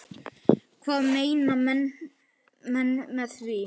Hvað meina menn með því?